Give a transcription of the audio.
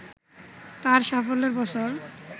তার সাফল্যের বছর